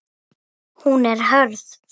Hún er hörð.